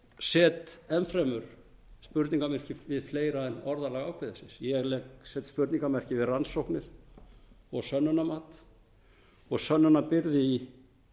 set enn fremur spurningarmerki við fleira en orðalag ákvæðisins ég legg spurningarmerki við rannsóknir sönnunarmat og sönnunarbyrði í